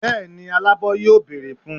bẹẹni alabọ yóò beerẹ fún